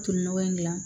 Tolinɔgɔ in dilan